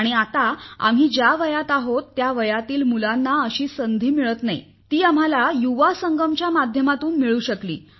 आणि आत्ता आम्ही ज्या वयात आहोत त्या वयातील मुलांना अशी संधी मिळत नाही ती आम्हाला युवा संगमच्या माध्यमातून मिळू शकली